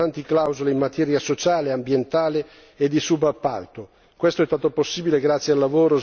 Con questo strumento si inseriscono importanti clausole in materia sociale, ambientale e di subappalto.